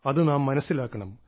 അത് നാം മനസ്സിലാക്കണം